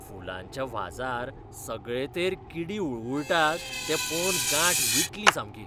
फुलांच्या व्हाजार सगळेतेर किडी हुळहूळटात तें पळोवन गांठ विटली सामकी.